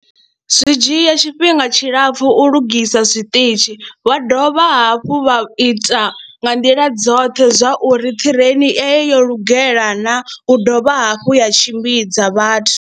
Zwi dzhia tshifhinga tshilapfhu u lugisa zwiṱitshi wa dovha hafhu vha ita nga nḓila dzoṱhe zwa uri ṱireini eyo lugela na u dovha hafhu ya tshimbidza vhathu.